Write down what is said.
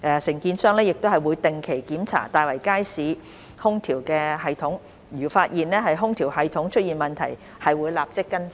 承建商亦會定期檢查大圍街市空調系統，如發現空調系統出現問題，會立即跟進。